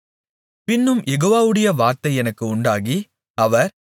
பின்னும் யெகோவாவுடைய வார்த்தை எனக்கு உண்டாகி அவர்